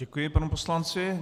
Děkuji panu poslanci.